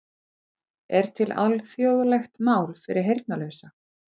Er til alþjóðlegt mál fyrir heyrnarlausa?